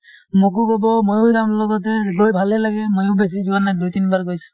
মোকো কব মইও যাম লগতে । গৈ ভালে লাগে , মইও বেছি যোৱা নাই দুই তিনবাৰ গৈছো ।